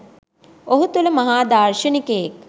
ඔහු තුළ මහා දාර්ශනිකයෙක්